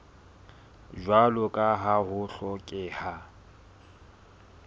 jwalo ka ha ho hlokeha